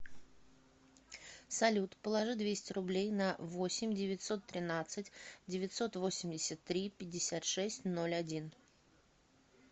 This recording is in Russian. салют положи двести рублей на восемь девятьсот тринадцать девятьсот восемьдесят три пятьдесят шесть ноль один